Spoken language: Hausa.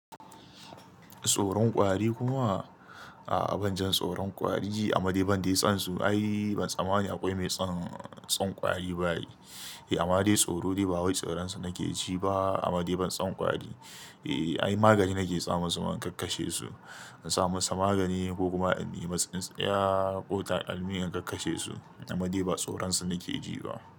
Tsoron kwari kuma? A'a ban ji tsoron kwari amma dai ban dai son su. Ai ban tsammanin akwai mai son son kwari ba ai. Eh amma dai tsoro dai ba wai tsoron sa nake ji ba amma dai ban son kwari. Eh ai magani nake sa masu ma in kakkashe su. In sa masa magani ko kuma in yi masa in tsintsiya ko takalmi in kakkashe su amma dai ba tsoron su nake ji ba.